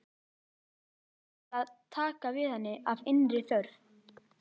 Menn áttu bara að taka við henni af innri þörf.